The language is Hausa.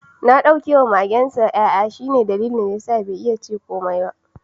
Na dauke wa magensa yayanta, sai dai bai iya cew da ni komai ba.